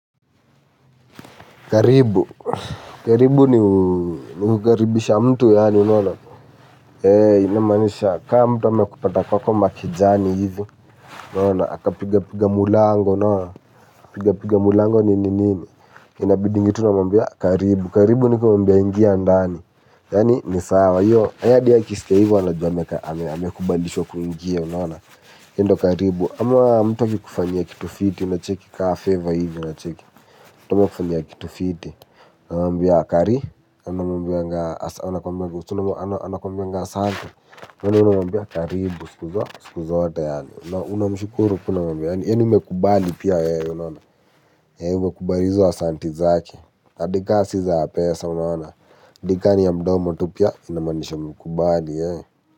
Karibu. Karibu ni nukukaribisha mtu yaani, yaani, inamanisha ka mtu amekupata kwako makijani ivi, unaona, aka piga piga mulango, unaona, piga piga mulango ni nini, inabidingi tu unamwambia karibu. Karibu niko mambia ingia ndani, yaani, ni sawa, yo, ayadi ya kiske hivo wanojwa amekubandisho kuingia, yaani, endo karibu. Ama mtu akikufanyia kitu fiti, unacheki kaa favor hivi, unacheki. Tumwa kufanyia kitu fiti, unamambia kari, unamambia santi, unamambia karibu, sikuza, sikuza wate yaani. Unamshukuru kuna mambia, yaani umekubali pia yae, unamambia kubalizo wa santi zaki. Adika siza ya pesa, unamambia, dikani ya mdomo tu pia, inamanisha mkubali yae.